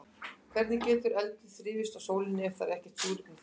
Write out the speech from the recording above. Hvernig getur eldur þrifist á sólinni ef það er ekkert súrefni þar?